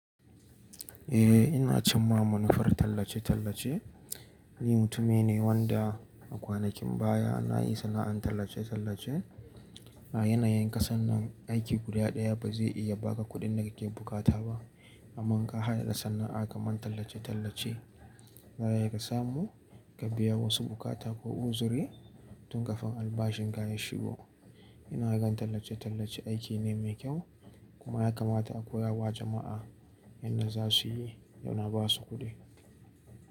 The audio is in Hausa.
Eh ina cin ma manufar tallace-tallace. Ni mutumi ne wanda a kwanakin baya na yi sana'an tallace-tallace. A yanayin ƙasar nan aiki guda ɗaya ba zai iya ba ka kuɗin da kake bukata ba, amma ka haɗa da sana'a kamar tallace-tallace, za ya iya ka samu ka biya wasu bukata ko uzuri tun kafin albashin ka ya shigo. Ina gan tallace-tallace aiki ne mai kyau kuma ya kamata a koya wa jama'a yadda za su yi da na ba su kuɗi.